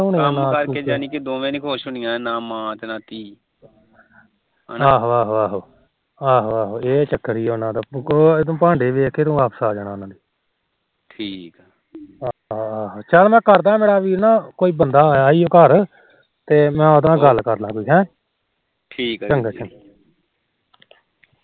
ਆਹੋ ਇਹ ਚੱਕਰ ਸੀ ਉਹਨਾ ਦਾ ਤੂੰ ਭਾਂਡੇ ਦੇਖ ਕੇ ਵਾਪਰ ਆ ਜਾਣਾ ਠੀਕ ਚੱਲ ਮੈ ਕਰਦਾ ਮੇਰਾ ਵੀਰ ਨਾ ਕੋਈ ਬੰਦਾ ਆਇਆ ਮੇਰੇ ਘਰ ਤੇ ਮੈ ਉਹਦੇ ਨਾਲ ਗੱਲ ਕਰਦਾ ਕੋਈ ਹੈ ਠੀਕ ਚੰਗਾ